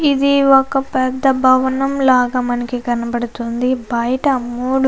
ఇది ఒక పెద్ద భవనం లాగా మనకి కనబడుతూ ఉంది.